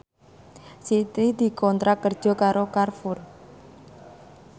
Siti dikontrak kerja karo Carrefour